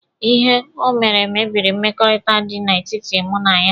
Ihe o mere mebiri mmekọrịta dị na etiti mụ na ya.